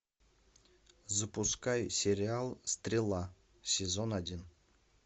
запускай сериал стрела сезон один